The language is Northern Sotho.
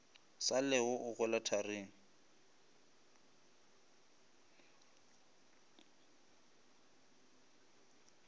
sa llego o hwela tharing